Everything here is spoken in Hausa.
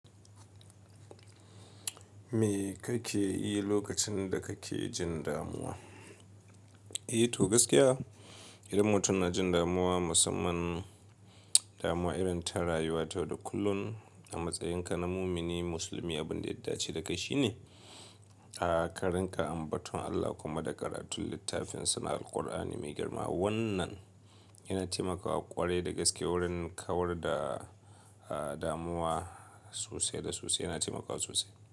Me kake yi lokacin da kake jin damuwa? Eh to gaskiya idan mutum na jin damuwa musamman damuwa irin ta rayuwa ta yau da kullum a matsayinka na mumini musulmi, abin da ya dace da kai shine ka rinƙa ambaton Allah kuma da karatun littafinsa Alkur'ani mai girma. Wannan yana taimakawa ƙware da gaske wurin kawar da damuwa sosai da sosai yana taimakawa sosai.